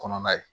Kɔnɔna ye